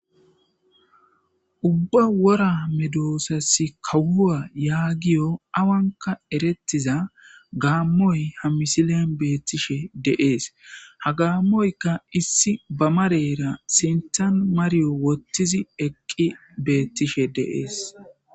Ubba wora medoosassi kahuwa yaagiyo awanka erettiza gaammoy ha misilen beettishe deees ha gaammoyka issi bamarera sintan mariyo wottizi eqqi beettishe deees